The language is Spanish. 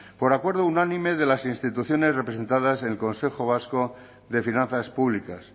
por acuerdo unánime de las instituciones representadas en el consejo vasco de finanzas públicas